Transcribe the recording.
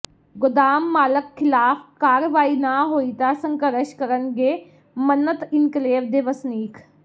ਗੋਦਾਮ ਮਾਲਕ ਿਖ਼ਲਾਫ਼ ਕਾਰਵਾਈ ਨਾ ਹੋਈ ਤਾਂ ਸੰਘਰਸ਼ ਕਰਨਗੇ ਮੰਨਤ ਇਨਕਲੇਵ ਦੇ ਵਸਨੀਕ